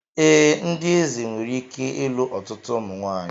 Ee, ndị eze nwere ike ịlụ ọtụtụ ụmụ nwanyị